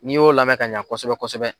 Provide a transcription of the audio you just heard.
N'i y'o lamɛn ka ɲa kosɛbɛ kosɛbɛ